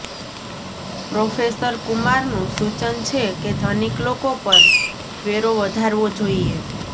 professor કુમારનું સૂચન છે કે ધનિક લોકો પર વેરો વધારવો જોઈએ